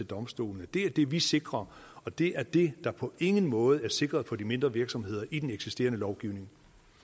domstolene det er det vi sikrer og det er det der på ingen måde er sikret på de mindre virksomheder i den eksisterende lovgivning